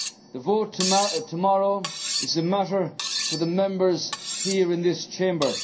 The vote tomorrow is a matter for the Members here in this Chamber.